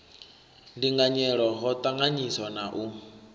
ndinganyelo ho ṱanganyiswa na u